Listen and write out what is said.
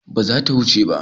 Bazata ta wuce.